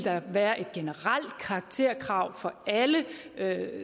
være et generelt karakterkrav for alle